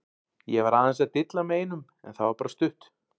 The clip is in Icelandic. Ég var aðeins að dilla með einum en það var bara stutt.